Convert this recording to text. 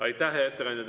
Aitäh, hea ettekandja!